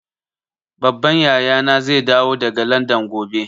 Babban yaya na zai dawo daga Landan gobe